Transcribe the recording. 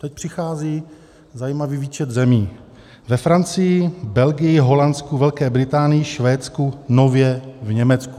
Teď přichází zajímavý výčet zemí: ve Francii, Belgii, Holandsku, Velké Británii, Švédsku, nově v Německu.